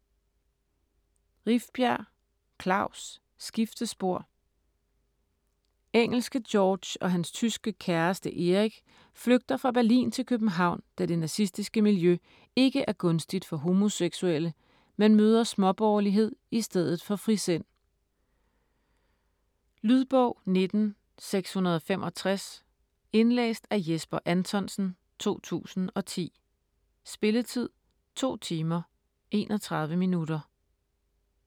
Rifbjerg, Klaus: Skiftespor Engelske George og hans tyske kæreste Erich flygter fra Berlin til København, da det nazistiske miljø ikke er gunstigt for homoseksuelle, men møder småborgerlighed i stedet for frisind. Lydbog 19665 Indlæst af Jesper Anthonsen, 2010. Spilletid: 2 timer, 31 minutter.